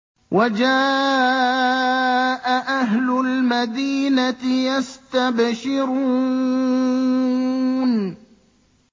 وَجَاءَ أَهْلُ الْمَدِينَةِ يَسْتَبْشِرُونَ